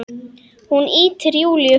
Hún ýtir Júlíu frá.